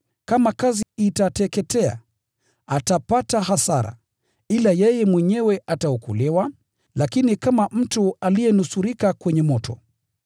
Kama kazi kitateketea, atapata hasara, ila yeye mwenyewe ataokolewa, lakini tu kama mtu aliyenusurika kwenye moto.